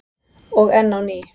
Og enn á ný.